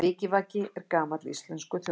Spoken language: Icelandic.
Vikivaki er gamall íslenskur þjóðdans.